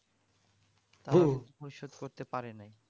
ঐসব করতে পারি নাই